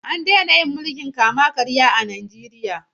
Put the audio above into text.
An daina yin mulkin kama karya a Najeriya.